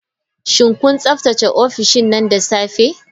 Shin kun tsaftace ofishin nan da safe?